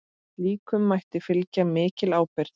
Slíkum mætti fylgir mikil ábyrgð.